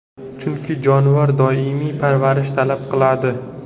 Chunki jonivor doimiy parvarish talab qiladi.